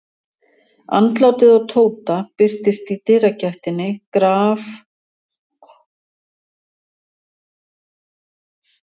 Andlitið á Tóta birtist í dyragættinni grafalvarlegt og ólíkt sjálfu sér.